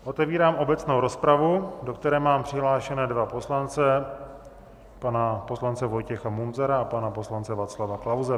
Otevírám obecnou rozpravu, do které mám přihlášené dva poslance, pana poslance Vojtěcha Munzara a pana poslance Václava Klause.